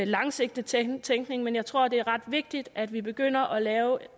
langsigtet tænkning tænkning men jeg tror at det er ret vigtigt at vi begynder at lave